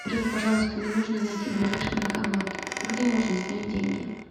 джой пожалуйста мне нужно найти ближайший банкомат где можно снять деньги